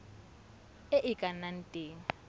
e e ka nnang teng